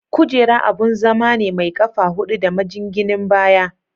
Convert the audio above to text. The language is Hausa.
Kujera abun zama ne mai ƙafa hudu da majinginin baya.